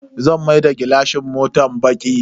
Zan maida gilashin motan baki.